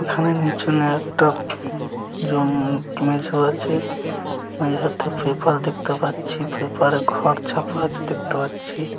এখানে নিচনে একটা আছে একটা পেপার দেখতে পাচ্ছি পেপারে ঘর ছাপা আছে দেখতে পাচ্ছি ।